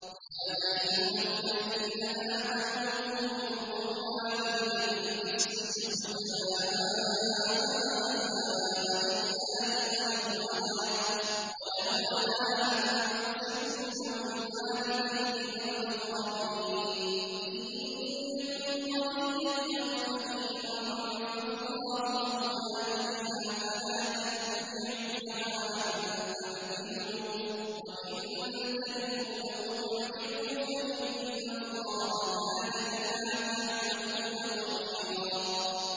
۞ يَا أَيُّهَا الَّذِينَ آمَنُوا كُونُوا قَوَّامِينَ بِالْقِسْطِ شُهَدَاءَ لِلَّهِ وَلَوْ عَلَىٰ أَنفُسِكُمْ أَوِ الْوَالِدَيْنِ وَالْأَقْرَبِينَ ۚ إِن يَكُنْ غَنِيًّا أَوْ فَقِيرًا فَاللَّهُ أَوْلَىٰ بِهِمَا ۖ فَلَا تَتَّبِعُوا الْهَوَىٰ أَن تَعْدِلُوا ۚ وَإِن تَلْوُوا أَوْ تُعْرِضُوا فَإِنَّ اللَّهَ كَانَ بِمَا تَعْمَلُونَ خَبِيرًا